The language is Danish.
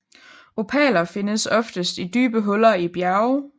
Opaler findes oftest i dybe huller i bjerge